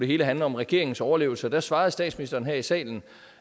hele handle om regeringens overlevelse og der svarede statsministeren her i salen